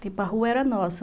Tipo, a rua era nossa.